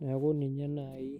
naiku ninye naaji